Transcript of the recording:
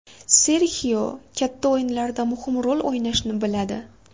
Serxio katta o‘yinlarda muhim rol o‘ynashni biladi.